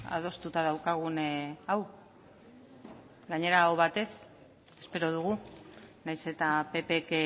adostuta daukagun hau gainera aho batez espero dugu nahiz eta ppk